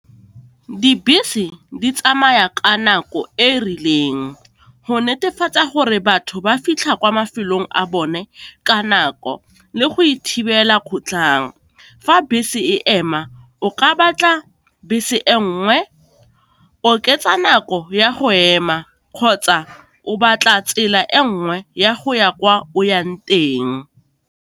Dibese di tsamaya ka nako e e rileng go netefatsa gore batho ba fitlha kwa mafelong a bone ka nako, le go ithibela kgotlhang. Fa bese e ema, o ka batla bese e nngwe, oketsa nako ya go ema kgotsa o batla tsela e nngwe ya go ya kwa o yang.